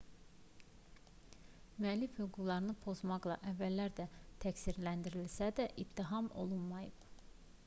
müəllif hüquqlarını pozmaqda əvvəllər də təqsirləndirilsə də ittiham olunmayıb